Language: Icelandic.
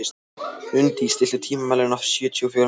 Unndís, stilltu tímamælinn á sjötíu og fjórar mínútur.